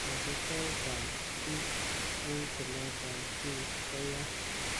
Kosiibtoet ab kit en tilet ab kiy ko yaa.